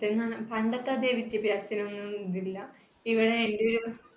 പണ്ടത്തെ അതെ വിദ്യാഭ്യാസത്തിന് ഒന്നും ഇതില്ല, ഇവിടെ എന്‍ടെ ഒരു